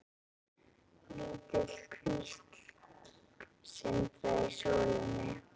Lítil kvísl sindraði í sólinni.